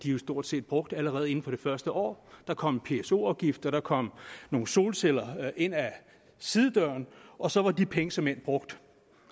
jo stort set brugt allerede inden for det første år der kom pso afgifter der kom nogle solceller ind ad sidedøren og så var de penge såmænd brugt